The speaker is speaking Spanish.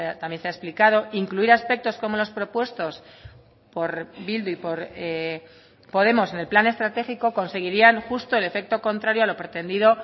también se ha explicado incluir aspectos como los propuestos por bildu y por podemos en el plan estratégico conseguirían justo el efecto contrario a lo pretendido